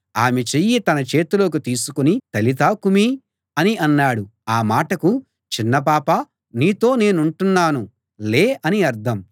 ఆమె చెయ్యి తన చేతిలోకి తీసుకుని తలితా కుమీ అని అన్నాడు ఆ మాటకు చిన్నపాపా నీతో నేనంటున్నాను లే అని అర్థం